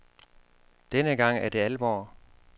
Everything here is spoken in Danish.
Denne gang er det alvor.